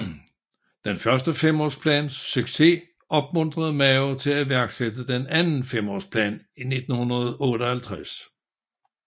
Den første femårsplans succes opmuntrede Mao til iværksætte den anden femårsplan i 1958